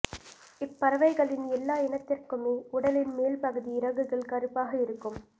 இப்பறவைகளின் எல்லா இனத்திற்குமே உடலின் மேல்பகுதி இறகுகள் கறுப்பாக இருக்கும்